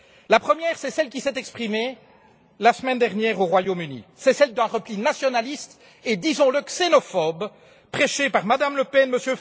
La première, c'est celle qui s'est exprimée la semaine dernière au Royaume Uni, c'est celle d'un repli nationaliste et disons le xénophobe, prêché par Mme Le Pen, M.